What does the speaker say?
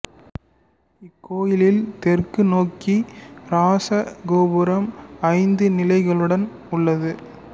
இக்கோயில் தெற்கு நோக்கி இராச கோபுரம் ஐந்து நிலைகளுடன் உள்ளது